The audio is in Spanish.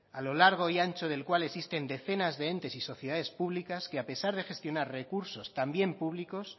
a lo largo y ancho del cual existen decenas de entes y sociedades públicas que a pesar de gestionar recursos también públicos